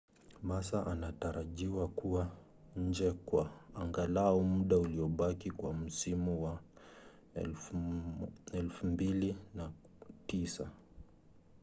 massa anatarajiwa kuwa nje kwa angalau muda uliobaki wa msimu wa 2009